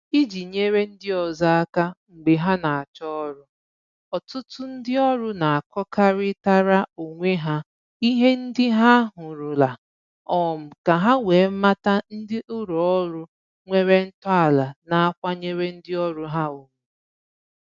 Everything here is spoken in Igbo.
Iji nyere ndị ọzọ aka mgbe ha na-achọ ọrụ, ọtụtụ ndị ọrụ na-akọkarịtara onwe ha ihe ndị ha hụrụla, um ka ha wee mata ndị ụlọ ọrụ nwere ntọala na-akwanyere ndị ọrụ ha ugwu